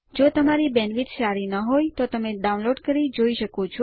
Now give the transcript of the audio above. જો તમારી બેન્ડવિડ્થ સારી નહિં હોય તો તમે ડાઉનલોડ કરી તે જોઈ શકો છો